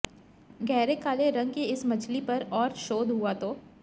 गहरे काले रंग की इस मछली पर और शोध हुआ तो